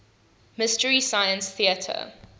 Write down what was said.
mystery science theater